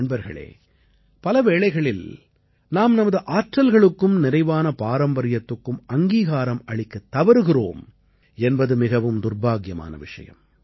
நண்பர்களே பலவேளைகளில் நாம் நமது ஆற்றல்களுக்கும் நிறைவான பாரம்பரியத்துக்கும் அங்கீகாரம் அளிக்கத் தவறுகிறோம் என்பது மிகவும் துர்பாக்கியமான விஷயம்